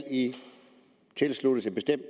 tilsluttes en bestemt